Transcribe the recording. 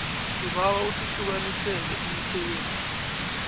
sibawa usihlukanisele imisebenzi